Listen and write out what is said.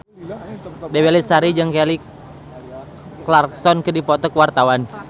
Dewi Lestari jeung Kelly Clarkson keur dipoto ku wartawan